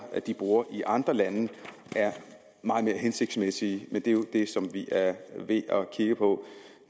de bruger i andre lande er meget mere hensigtsmæssige men det er jo det som vi er ved at kigge på